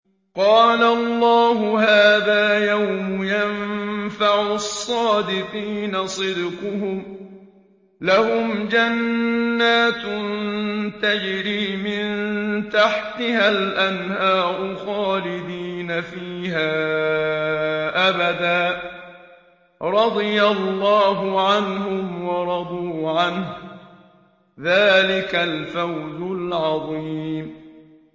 قَالَ اللَّهُ هَٰذَا يَوْمُ يَنفَعُ الصَّادِقِينَ صِدْقُهُمْ ۚ لَهُمْ جَنَّاتٌ تَجْرِي مِن تَحْتِهَا الْأَنْهَارُ خَالِدِينَ فِيهَا أَبَدًا ۚ رَّضِيَ اللَّهُ عَنْهُمْ وَرَضُوا عَنْهُ ۚ ذَٰلِكَ الْفَوْزُ الْعَظِيمُ